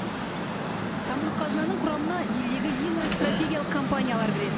самұрық қазынаның құрамына елдегі ең ірі стратегиялық компаниялар кіреді